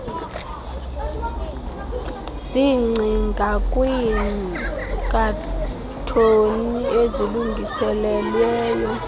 zigcinwe kwiikhathoni ezilungiselelwe